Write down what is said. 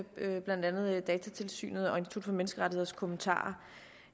med blandt andet datatilsynets og institut for menneskerettigheders kommentarer